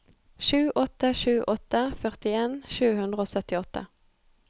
sju åtte sju åtte førtien sju hundre og syttiåtte